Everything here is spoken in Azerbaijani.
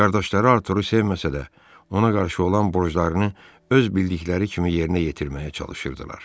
Qardaşları Arturu sevməsə də, ona qarşı olan borclarını öz bildikləri kimi yerinə yetirməyə çalışırdılar.